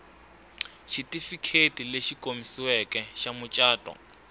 xitifiketi lexi komisiweke xa mucato